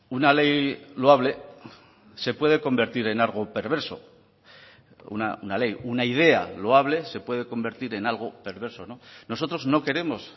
una ley loable se puede convertir en algo perverso una ley una idea loable se puede convertir en algo perverso nosotros no queremos